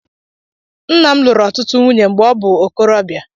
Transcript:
Nna m lụrụ ọtụtụ nwunye mgbe ọ bụ ikorọbịa.